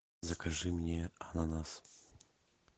закажи мне ананас